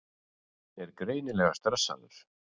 Er greinilega stressaður.